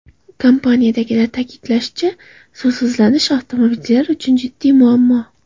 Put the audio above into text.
Kompaniyadagilar ta’kidlashicha, suvsizlanish avtomobilchilar uchun jiddiy muammo.